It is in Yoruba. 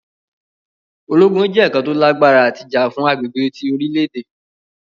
Ologun jẹ oun kan to lagbara ti ja fun agbegbe ti orilẹ-ede.